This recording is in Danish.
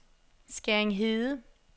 Skæring Hede